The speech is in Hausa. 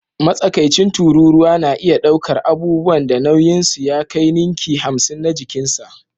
Matsakaicin tururuwa na iya ɗaukar abubuwan da nauyinsu ya kai ninki hamsin na jikinsa